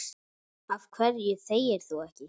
Af hverju þegir þú ekki?